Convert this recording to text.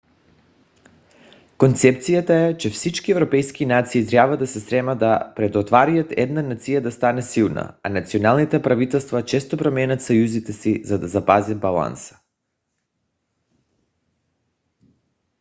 концепцията е че всички европейски нации трябва да се стремят да предотвратят една нация да стане силна а националните правителства често променят съюзите си за да запазят баланса